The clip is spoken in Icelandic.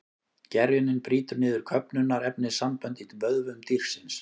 Gerjunin brýtur niður köfnunarefnissambönd í vöðvum dýrsins.